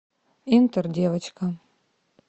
интердевочка